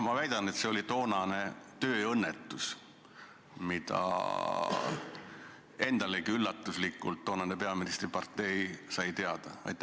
Ma väidan, et see oli tööõnnetus, millest endalegi üllatusena toonane peaministri partei teada sai.